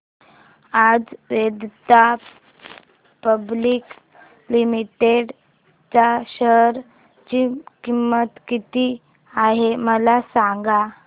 आज Vedanta public limited च्या share ची किंमत किती आहे मला सांगा